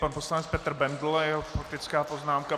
Pan poslanec Petr Bendl a jeho faktická poznámka.